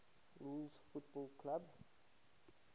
rules football clubs